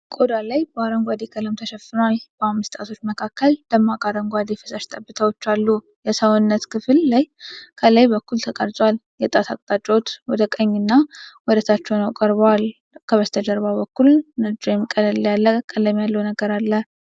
ቆዳ ላይ በአረንጓዴ ቀለም ተሸፍኗል። በአምስት ጣቶች መካከል ደማቅ አረንጓዴ ፈሳሽ ጠብታዎች አሉ። የሰዉነት ክፍል ከላይ በኩል ተቀርጿል። የጣት አቅጣጫዎች ወደ ቀኝና ወደታች ሆነው ተቀርጿል። ከበስተጀርባ በኩል ነጭ ወይም ቀለል ያለ ቀለም ያለው ነገር አለ።